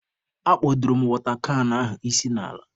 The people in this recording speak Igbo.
Akpodoro m watọ kan ahụ isi n'ala.